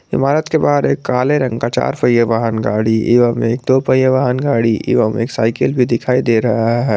इमारत के बाहर एक काले रंग का चार पहिया वाहन गाड़ी एवं एक दो पहिया वाहन गाड़ी एवं एक साइकिल भी दिखाई दे रहा है।